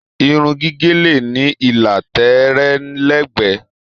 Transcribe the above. Irun gígé le ní ìlà tẹẹrẹ lẹgbẹ.